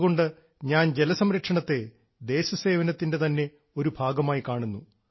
അതുകൊണ്ട് ഞാൻ ജലസംരക്ഷണത്തെ ദേശസേവനത്തിൻറെ തന്നെ ഒരു ഭാഗമായി കാണുന്നു